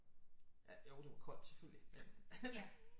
Jo det var koldt selvfølgelig